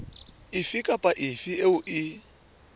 efe kapa efe eo e